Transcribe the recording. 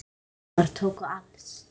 Þessir geymar tóku alls